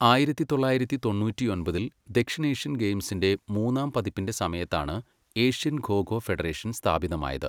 ആയിരത്തി തൊള്ളായിരത്തി തൊണ്ണൂറ്റൊമ്പതിൽ, ദക്ഷിണേഷ്യൻ ഗെയിംസിന്റെ മൂന്നാം പതിപ്പിന്റെ സമയത്താണ് ഏഷ്യൻ ഖോ ഖോ ഫെഡറേഷൻ സ്ഥാപിതമായത്.